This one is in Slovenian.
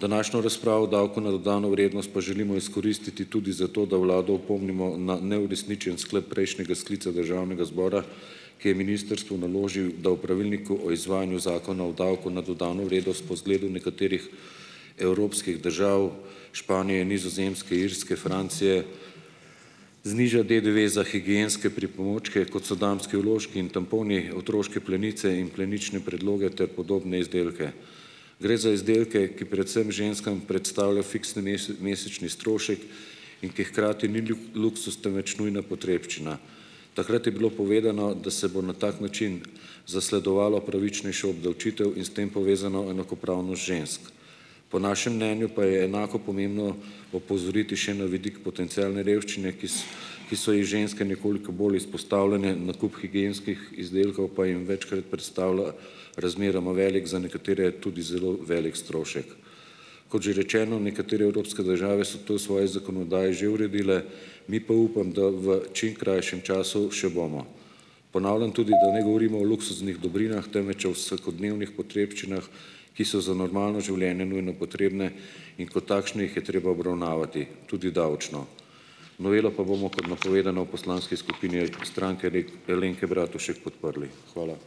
Današnjo razpravo o davku na dodano vrednost pa želimo izkoristiti tudi za to, da vlado opomnimo na neuresničen sklep prejšnjega sklica državnega zbora, ki je ministrstvu naložil, da v pravilniku o izvajanju zakona o davku na dodano vrednost po zgledu nekaterih evropskih držav: Španije, Nizozemske, Irske, Francije, zniža DDV za higienske pripomočke, kot so damski vložki in tamponi, otroške plenice in plenične predloge, ter podobne izdelke. Gre za izdelke, ki predvsem ženskam predstavlja fiksni mesečni strošek in ki hkrati ni luksuz, temveč nujna potrebščina. Takrat je bilo povedano, da se bo na tak način zasledovalo pravičnejšo obdavčitev in s tem povezano enakopravnost žensk. Po našem mnenju pa je enako pomembno opozoriti še na vidik potencialne revščine, ki ki so ji ženske nekoliko bolj izpostavljene, nakup higienskih izdelkov pa jim večkrat predstavlja razmeroma velik, za nekatere tudi zelo veliko strošek. Kot že rečeno, nekatere evropske države so to v svoji zakonodaji že uredile, mi pa upam, da v čim krajšem času še bomo. Ponavljam tudi, da ne govorimo o luksuznih dobrinah, temveč o vsakodnevnih potrebščinah, ki so za normalno življenje nujno potrebne, in kot takšne jih je treba obravnavati tudi davčno. Novelo pa bomo, kot napovedano, v poslanski skupini Stranke Alenke Bratušek podprli. Hvala.